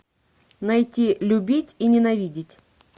найти любить и ненавидеть